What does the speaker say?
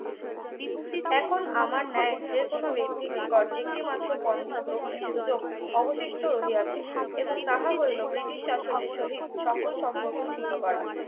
এখন আমার ন্যায় যে কোন ব্যক্তি নিকট একমাত্র পন্থা গ্রহণের সুযোগ অবশিষ্ট রহিয়াছে এবং তাহা হইল british শাসনের সহিত সকল সম্পর্ক ছিন্ন করা